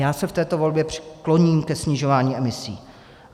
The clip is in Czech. Já se v této volbě kloním ke snižování emisí.